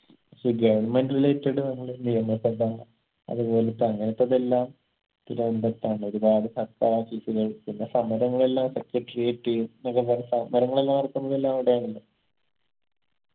so government related ആണല്ലോ നിയമസഭാ അത് പോലത്തെ അങ്ങനത്തതെല്ലാം തിരുവനന്തപുരത്താണ് ഒരുപാട് സർക്കാർ office കൾ പിന്നെ സമരങ്ങളെല്ലാം secretariat സമരങ്ങളെല്ലാം നടത്തുന്നതെല്ലാം അവിടെയാണല്ലോ